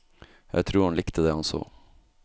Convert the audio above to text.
Jeg tror han likte det han så.